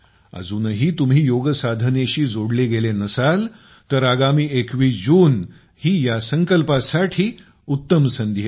अजूनही तुम्ही योगसाधनेशी जोडले गेले नसाल तर आगामी 21 जून ही या संकल्पासाठी उत्तम संधी आहे